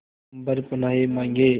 अम्बर पनाहे मांगे